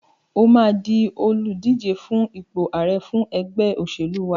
O máa di olùdíje fún ipò ààre fún ẹgbẹ́ òṣẹ̀lú wa.